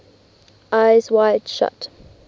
eyes wide shut